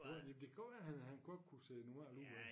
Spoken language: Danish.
Jo men det det kan godt være han han godt kunne se normal ud af